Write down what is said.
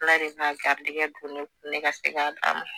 Ala de b'a garijɛgɛ don ne kun ne ka se k'a d'a ma